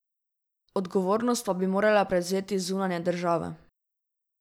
Odgovornost pa bi morale prevzeti zunanje države.